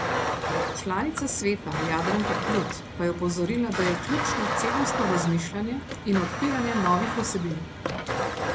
Članica sveta Jadranka Plut pa je opozorila, da je ključno celostno razmišljanje in odpiranje novih vsebin.